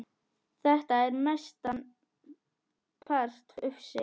Þetta er mestan part ufsi